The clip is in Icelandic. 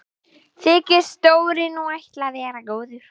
Þykist Dóri nú ætla að vera góður.